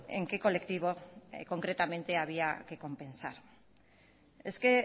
en qué colectivo concretamente había que compensar es que